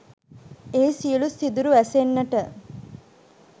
එහි සියළු සිදුරු වැසෙන්නට